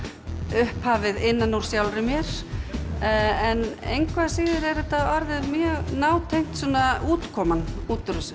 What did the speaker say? upphafið innan úr sjálfri mér en engu að síður er þetta orðið nátengt útkoman út úr þessu